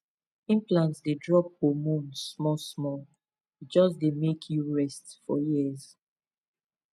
implant dey drop hormone smallsmall e just dey make you rest for years pause